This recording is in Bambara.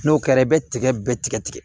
N'o kɛra i bɛ tigɛ bɛɛ tigɛ tigɛ